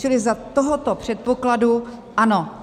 Čili za tohoto předpokladu ano.